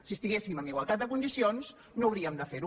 si estiguéssim en igualtat de condicions no hauríem de fer ho